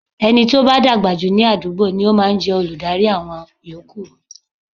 Ẹni tí ó bá dàgbà jù ní àdúgbò ni ó máa ń jẹ́ olùdarí àwọn yòókù.